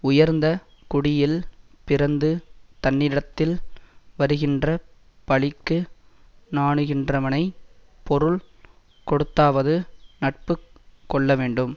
உயர்ந்த குடியில் பிறந்து தன்னிடத்தில் வருகின்றப் பழிக்கு நாணுகின்றவனைப் பொருள் கொடுத்தாவது நட்பு கொள்ளவேண்டும்